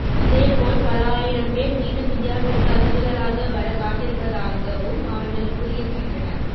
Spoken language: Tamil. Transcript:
இதேபோல் பல ஆயிரம் பேர் மீண்டும் இந்தியாவிற்கு அகதிகளாக வர காத்திருப்பதாகவும் அவர்கள் கூறியிருக்கின்றனர்